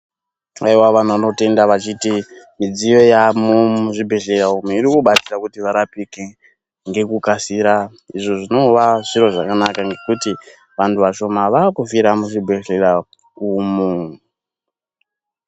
Alwa vanhu vano tenda vachiti midziyo yavamo muzvi bhedhlera umu iri kubatsira kuri varapike ngeku kasira izvo zvinova zviro zvakanaka ngekuti vantu vashoma vari kufira muzvi bhedhlera umu.